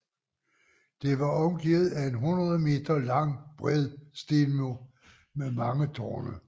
Det var omgivet af en 100 m lang bred stenmur med mang tårne